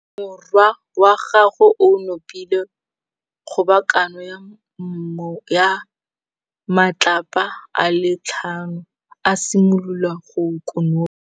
Morwa wa gagwe o nopile kgobokanô ya matlapa a le tlhano, a simolola go konopa.